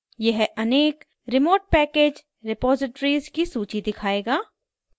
यह अनेक remote package repositories की सूची दिखायेगा